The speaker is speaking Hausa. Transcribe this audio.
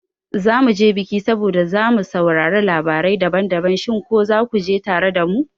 zamu je bikin saboda mu saurari labarai daban-daban, shin ko zaku je tare da mu?